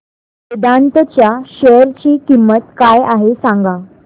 वेदांत च्या शेअर ची किंमत काय आहे सांगा